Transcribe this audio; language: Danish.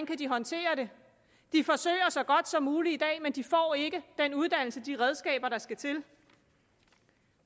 kan håndtere det de forsøger så godt som muligt i dag men de får ikke den uddannelse og de redskaber der skal til